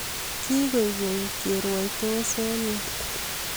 Kikoek keny kerwaitos eng yu